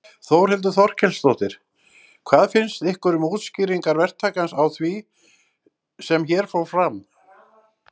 Þórhildur Þorkelsdóttir: Hvað finnst ykkur um útskýringar verktakans á því sem hér fór fram?